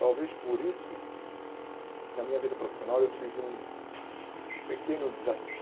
Talvez por isso, na minha vida profissional, eu tive um um pequeno